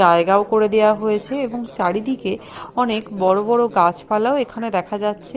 জায়গাও করে দেওয়া হয়েছে এবং চারিদিকে অনেক বড় বড় গাছপালাও এখানে দেখা যাচ্ছে।